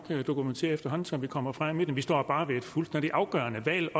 dokumentere efterhånden som vi kommer frem vi står bare også ved et fuldstændig afgørende valg